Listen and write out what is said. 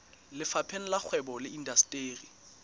lefapheng la kgwebo le indasteri